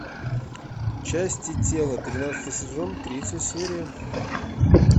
части тела тринадцатый сезон третья серия